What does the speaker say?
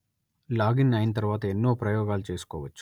login అయిన తరువాత ఎన్నో ప్రయోగాలు చేసుకోవచ్చు